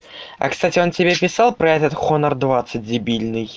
а кстати он тебе писал про этот хонор двадцать дебильный